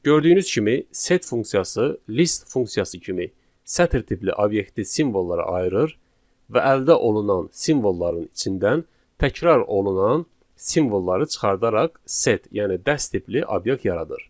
Gördüyünüz kimi, set funksiyası list funksiyası kimi sətir tipli obyekti simvollara ayırır və əldə olunan simvolların içindən təkrar olunan simvolları çıxardaraq set, yəni dəst tipli obyekt yaradır.